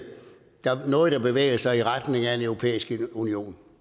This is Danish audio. noget der bevæger sig i retning af en europæisk union